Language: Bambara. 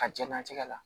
Ka jɛnnatigɛ la